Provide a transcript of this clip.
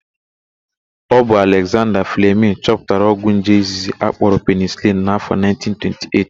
Ọ bụ Alekzanda Flemịn chọpụtara ogwụ nje izizi akpọrọ penisilin n'áfọ̀ 1928.